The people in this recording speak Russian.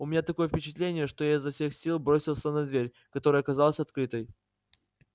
у меня такое впечатление что я изо всех сил бросился на дверь которая оказалась открытой